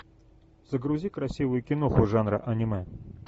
загрузи красивую киноху жанра аниме